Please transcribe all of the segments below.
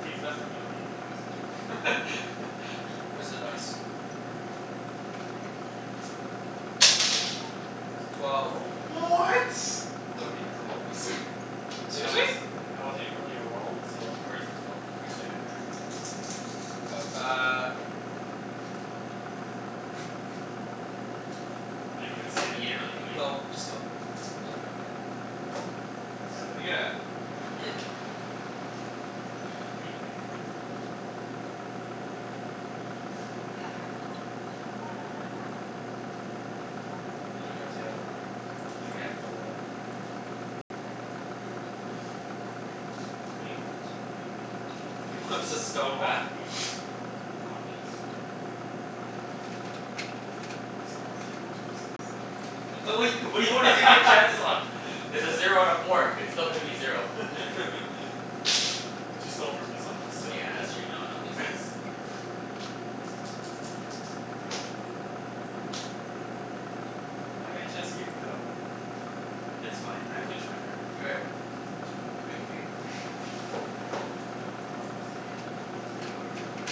See, it's best when you don't even know what's going on. Where's the dice? That wasn't really a Twelve. roll, but What? Nobody has it anyways. But that Seriously? wasn't, Yeah, that wasn't nobody even has it. really a roll, so Where is the twelve? Oh, Oh, it's Right Right it's over there. over there. there. there. Go. Uh I didn't even see You it. didn't really do anything. Go. Just go. I'm just buying that. Seven Seven. again. You gonna take from me? Are you mad? How many Me cards do you have? or Alvin. Two. I have four. Oh, fuck. What do you want? He wants his I stone back. want wheat. You want wheat? Yeah. I don't have wheat. I just don't wanna take my chances. Okay. W- what what do you want to take your chances on? It's a zero out of four. It's still gonna be zero. But you stole from me so I'm gonna steal from Yeah, that's true. No, you. no, it makes sense. Five? Chancey, you can go. It's fine. I finished my turn. K, anybody have wheat? No, no one has, he has wheat.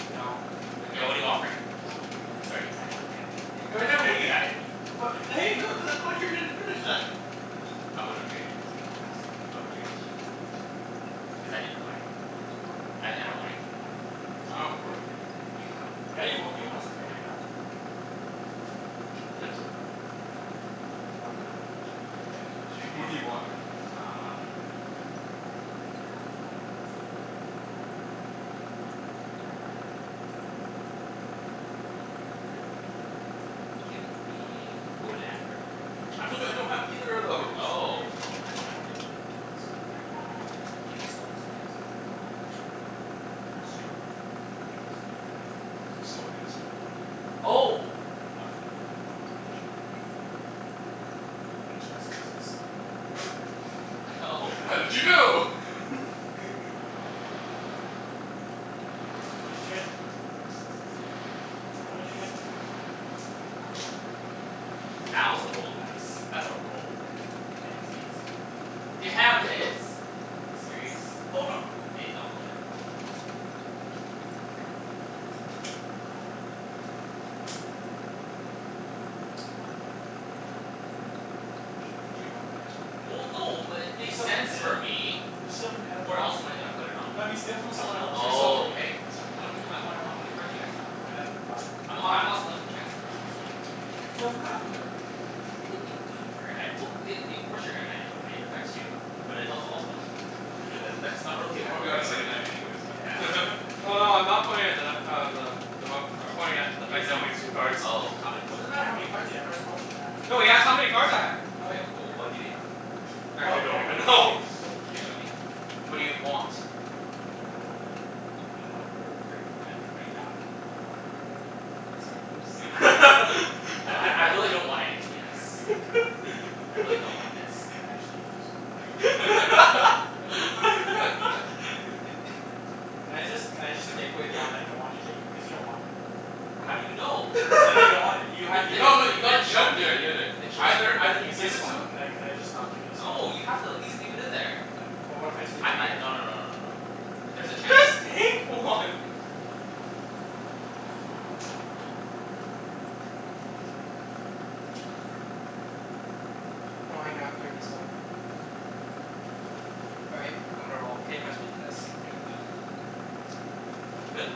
No, I Yeah. don't. What are you offering? What do you Sorry need? Ibs, I had I had wheat. You have a I wheat? had wheat. What I wouldn't have traded it to you Oh anyways. fine, I would've whatever. traded to Chancey. What do you, what do Cuz I you didn't want for it? want anything you wanted, uh I I don't want anything you have, sorry. I don't Um have wood. you have Yeah, you wa- you want something I have. You had wood? No. You Oh. want my other thing. K, what did you, what do you want? Um Give me wood and brick. I told you I don't have either of those! Oh, well I don't really need s- give me stone and something else then. Um, I'll give you stone. Okay, sorry. No, then. Like, stone and stone. Oh! Um Yeah, sure. I think Chancey just has stone. Oh. How did you know? What did you trade him? Don't worry about it. Nah, Tell me what it's you traded? wheat. It's wheat. See that was a roll, guys. That's a roll. And it was eight. God damn it. Damn it. You serious? Hold on. Hey, don't go yet. Mm. Could you not? there. Well, no, it Can you makes steal from sense for him? me. Can you steal from him? Where else am I gonna put it on? No, but steal from someone else. Don't steal Oh, from me. okay. How m- I wanna know how many cards you guys have. I have five. Three. I'm h- I'm not stealing from Chancey cuz he just gave me a pretty good trade. Steal from Mathew, then. If you're gonna knight, well y- i- of course you're gonna knight it away. It affects you. But it helps all of them. But that's not really a He'll bad probably got a second argument. knight anyways, Yeah. man. Oh, no, I'm not pointing at the nut uh, the I'm pointing at the fact that I only have two cards. three Oh. How many It what i- doesn't matter cards. how many cards w- you have, it's what you have. No, he asked how many cards I had. Okay, Okay. o- oh what do you have? Actually, No, I don't don't play even this know. game. You gonna show me? What do you want? Uh I don't want a wood or a brick, at right now I'd wa- Oh, I a don't wood or a have brick. wood. Okay, sorry Ibs. I I'd don't I I have really wood. don't want anything he has. I really don't want its. I actually hate you so much. Can I just, can I just take away the one that I don't want you to take? Cuz you don't want it. How do you know? Cuz I know you don't want it. You You had, did you did No no, just you you gotta didn't you show gotta me. do it. You gotta do it. Then show me. Either either you It's give this it to one. him Can I can I just not give you this one? No, you have to at least leave it in there. Ca- but what if I just leave I it mi- here? no no no no no no. There's a chance I Just take one. Whose turn is it, by the way? Mine, after he's done. All right. I'm gonna roll. Can you pass me the dice? I'm okay with that. You good?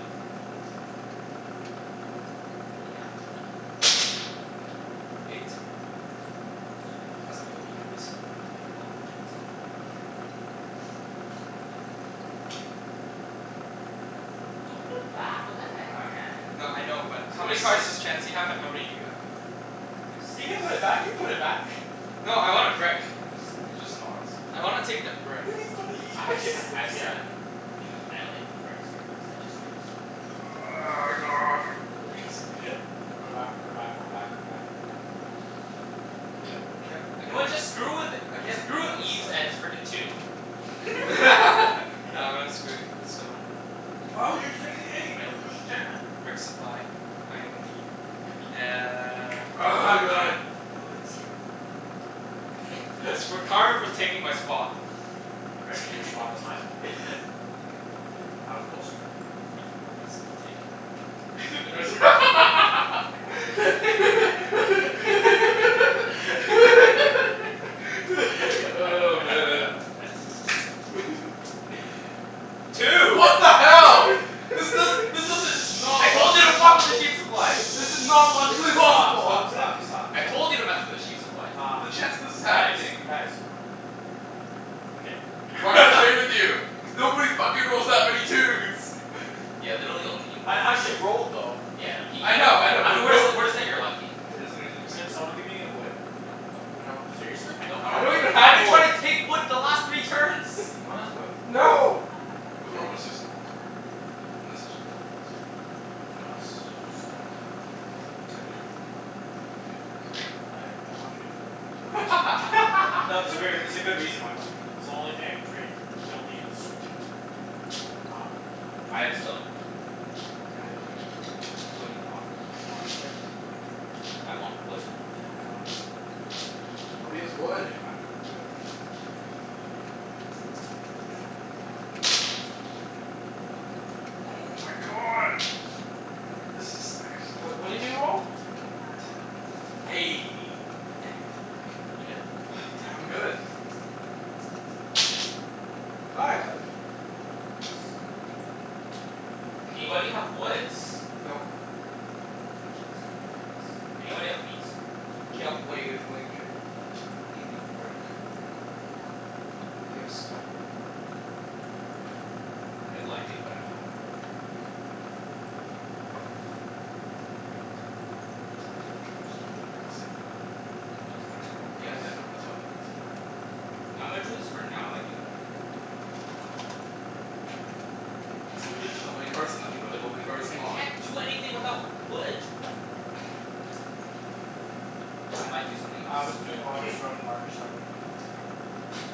You good? Yeah, I'm good. Eight. Yes. Pass me a wheat please? You're welcome, Chancey. Thank you. Don't put it back. You What the put heck, back, man. man? No, I know, but There's how no many cards excite- does Chancey I have and how many do you have? I have four. I have He six. can put it back. You put it back. No, I want a can brick. I have seven? It's just not as I fun. wanna take the brick. I had s- I have seven. I only have one brick, sorry, cuz I just drew it. God Put it back. Put it back. Put it back. Put it back. Put it back. Put it back. Do it. I I can't I You know can't what? like Just screw with it. I can't Screw leave with on this Ibs side. and his frickin' two. Nah, I'm gonna screw with the stone. I don't understand. Brick supply. I am in need. Uh Oh my god, my legs. It's for karma for taking my spot. I didn't take your spot. That's my spot. I was closer. Even more reason to take it. Oh, man. Two! What the hell? This does, Shh. Shh. this doesn't it's not I told you to fuck with the sheep supply! This is not logically possible. Stop, stop, stop, stop, stop. I told you to mess with the sheep supply. Um, The chance that this is guys, happening. guys. Okay. I'm not gonna play with you. Cuz nobody fucking rolls that many twos! Yeah, literally only you've rolled I twos. actually rolled, though. Yeah, I know. He, I know, yeah I know, I know but we're no jus- we're just saying you're lucky. Yeah, just we're saying you're Can super someone lucky. give me a wood? No. No. No. Seriously? I I don't don't I have have don't wood. even wood. I've have been wood. trying to take wood the last three turns. No one has wood? No. No! We haven't rolled a six in a long time. And the six was blocked the last time. Do you want a s- stone? I do. What do you want? Can you give? Sorry. I don't wanna trade it to you right now. Not No, there's a ver- there's a good reason why I don't wanna trade. Cuz the only thing I can trade, you'll need it to screw me over. Um I have a stone. Can I trade you? What are you gonna offer? You want a brick. I want wood. I don't have wood. Nobody has wood. Okay fine, I'm good. Okay. Oh Ten. my god! So much brick. This is actually What what did bullshit. you roll? A ten. Eh, hand me that brick. You good? Yeah, I'm good. Five. Five. Anybody have woods? Nope. Nope. Actually, this is ridiculous. Anybody have wheat? K, yep. What are you t- willing to trade? I'll give you brick. Do you have stone? No. I, well, I do, but I don't wanna give it away. It's worth in a trade for stone, but I didn't wanna say anything. Well, it's my turn anyways. Yeah, Yes. yeah, no. That's why I didn't wanna say anything. K, I'm gonna do this for now. I might do more later. Uh. Does somebody have Ah, development cards and shit. nothing but development cards? I Come on. can't do anything without wood. I might do something else. Alvin's doing army.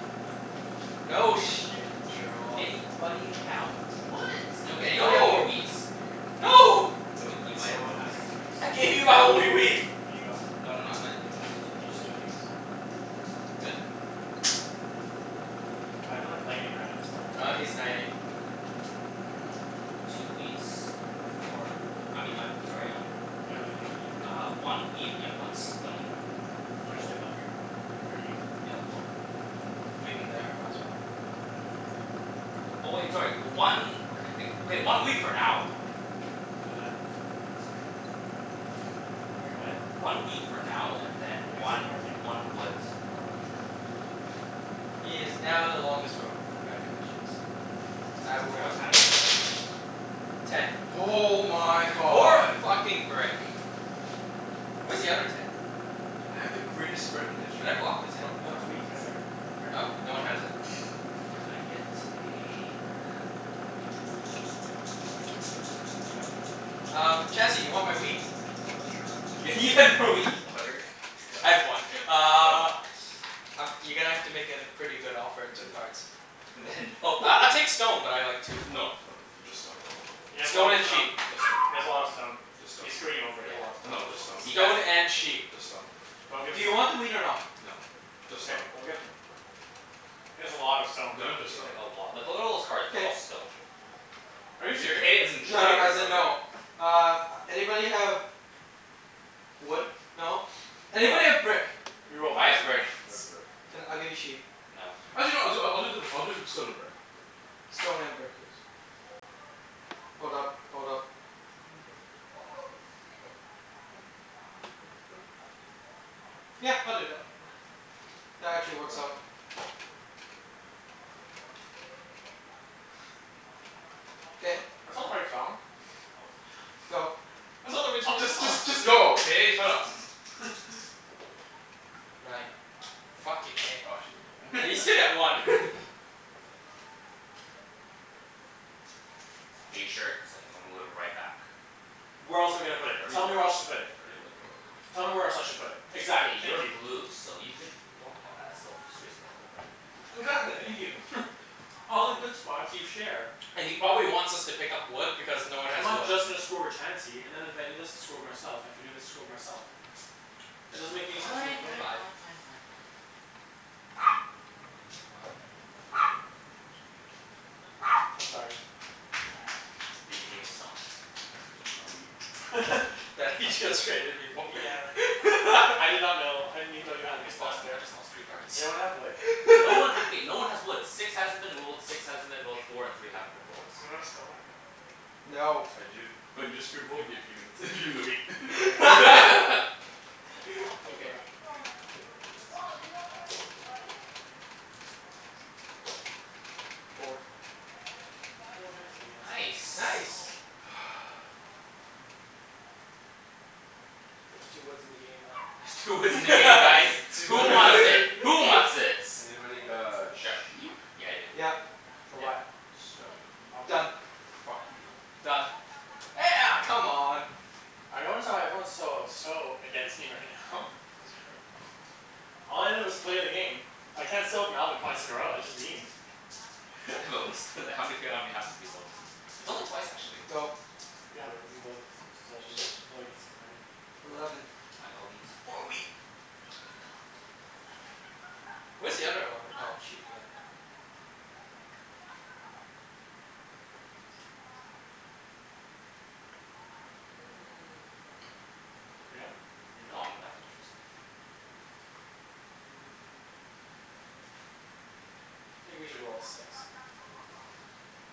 No shit, Sherlock. Anybody have woods? Okay, anybody have more No! wheats? No! But you might No have one more wheat. has those things. I gave you my only wheat. Aw, Can you go? no no, I might Can you just do things? Good? I've been like lightning rounding this the whole Ah, entire No, he's no, game. knighting. I'm not knighting. Oh. Two wheats for I mean I, sorry, um leave it Uh, here? one wheat and one stone Do you wanna just fo- leave them here? Or you need them? Yeah, Just well leave them? Leave them there. Might as well. Wait, what would you do? Oh, oh wait, sorry. One Okay, okay. Okay, one wheat for now. And then? So Wait, what? One wheat for now and then You have to take one one more thing, though. one wood. Oh, okay. He is now the longest road. Congratulations. And I will Sorry, I was roll. kinda brain farting. Ten. Oh my More god! fucking brick. Where's the other ten? I had the Wheat. Ah greatest spread in Should history I and block then the this ten? fucking No, it's Oh. wheat happens. right there. It's right in Oh, front of no you. one has it. And I get a brick. No. Can I go? Um, Mhm. Chancey? You want my wheat? Uh, sure. Y- You you want stone? had more wheat, you fucker. Want I stone? had one. Stone? Uh Um, you're gonna have to make it a pretty good offer at two Then no. cards. Then no. I I'll take stone, but I like two. No no, th- just stone. He has a lot Stone of and stone. sheep. Just stone. He has a lot of stone. Just stone. He's screwing you over. He has a lot Yeah. of stone. No, just stone. He has Stone a l- and sheep. Just stone. Don't give Do him you it. want the wheat or no? No. Just Okay. stone. Don't give him it. He has a lot of stone. He No, just has like stone. a lot. Like what are all those cards? They're K. all stone. Are you Is it "k" as serious? in No no, trade, or as in no no. k? Uh, anybody have wood? No? No. Anybody have brick? You will I find have brick. someone. I have brick. Can, I'll give you sheep. No. Actually no, I'll do I I'll do the I'll do stone and brick. Stone and brick. Yes. That's Hold up. right. Hold up. Hold up. Yeah, I'll do that. That actually works out. That's K. not, that's not the right song. Go. That's not the right song at Just all. just just go, okay? Shut up. Nine. Nine. Fucking eh. Oh actually no, never Yeah, you still get one. mind. Are you sure? Cuz I'm gonna move it right back. Where else am I K. gonna put You it? Tell me already where else let to put You it. already let go of it. Tell me where else I should put it? K, Exactly. Thank you're you. blue so you could block, oh that still f- screws me over but Exactly. Thank you. All the good spots, you share. And he probably wants us to pick up wood because no one I'm has not wood. just gonna screw over Chancey and then if I do this I screw with myself and if I do this, I screw with myself. It doesn't Fine, make any sense for me to fine, put fine, Five. anywhere. fine, fine, fine, fine. Yep, okay. I'm sorry. Did you take his stone? Just my wheat. That he just traded me for. Yeah. I did not know. I didn't even know you had You just lost that thr- you there. just lost three cards. Does anyone have wood? No one ha- okay, no one has woods. Six hasn't been rolled, six hasn't been rolled, four and three haven't been rolled. Does anyone have stone? No. I do. But you just screwed If him over. if you gimme the gimme the wheat. No. Go You good? for it. Yeah, I'm good. Pass. Four. Oh, nice. I get Nice. something. Nice. What am I gonna do now? There's two woods in the game now. There's two woods in the game, guys! Who wants Two it? Who wants its? Anybody got sheep? Yeah, I do. Yep. For Yep. what? Stone. I'll do Done. it. Fuck you. Done. Eh a- come on! I notice how everyone's so so against me right now. Pass me a card. All I did was play a game. I can't steal off Alvin twice in a row. That's just mean. But we sto- how many f- how many times have we stole from you? It's only twice, actually. Go. Yeah, but you both stole from me. Even though you could steal from anyone. Eleven. Eleven. Oh, I got wheat. More wheat. Where's the other eleven? Oh, sheep, yeah. Are you done? Are you gonna No, do anything? I'm go- definitely gonna do stuff. I think we should roll a six.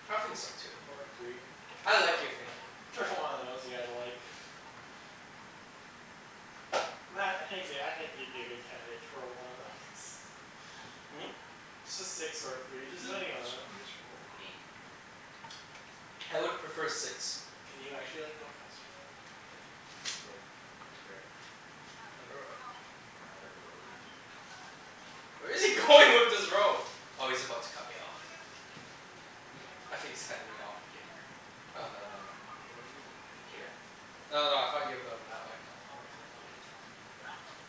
I think so, too. Or a three. I like your thinking. Whichever one of those you guys like. Mat, I think you could, I think you'd be a good candidate to roll one of those. Hmm? Just a six or a three. Just Who j- who any one of jus- who those. just rolled? Me. Oh. I would prefer six. Can you actually like, go faster, though? K. Wood and brick. For another road. Where is he going with this road? Oh, he's about to cut me off. I think he's cutting me off here. Here? Oh no, never mind. No. W- what do you mean? Like, here? No, no, I thought you were building that way. No, why would I build that way? There's nothing there.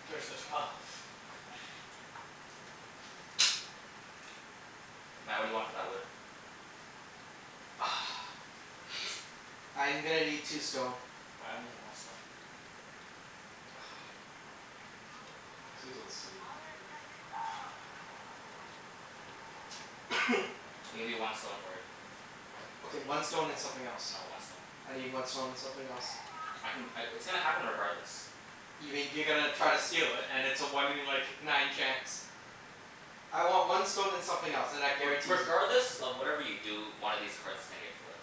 There's the twelve. No. Mat, what do you want for that wood? I'm gonna need two stone. Well I only have one stone. Come on. He's gonna build a city. Don't trade him. I'll give you one stone for it. Okay, one stone and something else. No, one stone. I need one stone and something else. I can c- w- it's gonna happen regardless. You mean you're gonna try to steal it and it's a one in like, nine chance. I want one stone and something else, and I- I re- guarantee you regardless of whatever you do, one of these cards is gonna get flipped.